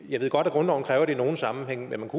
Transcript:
jeg ved godt at grundloven kræver det i nogle sammenhænge men man